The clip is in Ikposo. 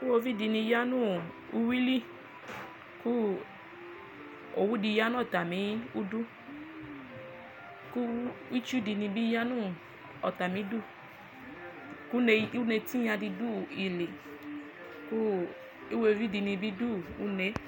Iwovi dini yanʋ uwili kʋ owʋ di yanʋ atami idʋ kʋ itsudini bi yanʋ ɔtami idʋ kʋ une tinyadi dʋ ili kʋ iwovi dini bi dʋ une